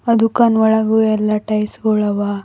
ಆ ದುಕಾನ್ ಒಳಗು ಎಲ್ಲಾ ಟೈಲ್ಸ್ ಗಳು ಅವ.